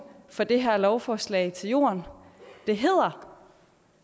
for det her lovforslag falder til jorden det hedder